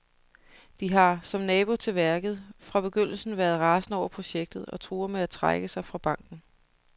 De har, som nabo til værket, fra begyndelsen været rasende over projektet og truer med at trække sig fra banken.